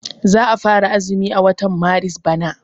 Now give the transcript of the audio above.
Za a fara azumi a watan maris bana.